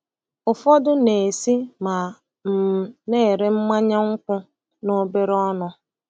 Ụfọdụ na-esi ma um na-ere mmanya nkwụ n'obere ọnụ.